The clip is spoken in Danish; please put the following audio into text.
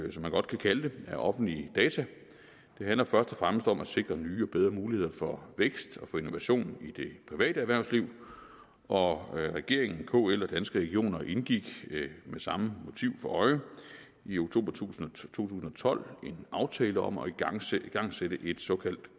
man godt kan kalde det af offentlige data handler først og fremmest om at sikre nye og bedre muligheder for vækst og for innovation i det private erhvervsliv og regeringen kl og danske regioner indgik med samme motiv for øje i oktober to tusind og tolv en aftale om at igangsætte igangsætte et såkaldt